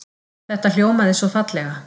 Þetta hljómaði svo fallega.